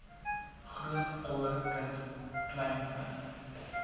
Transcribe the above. grootouer kind kleinkind